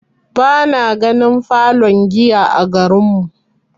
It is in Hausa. Bana ganin falon giya a garin mu.